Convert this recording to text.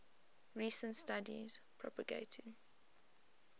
recent studies propagating